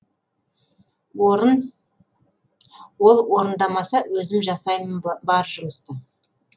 ол орындамаса өзім жасаймын бар жұмысты